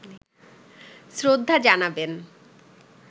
শ্রদ্ধা জানাবেন